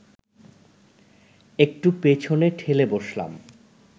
একটু পেছনে ঠেলে বসলাম